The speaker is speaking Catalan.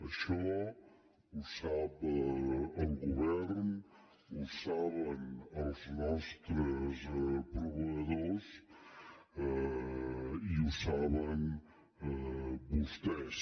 això ho sap el govern ho saben els nostres proveïdors i ho saben vostès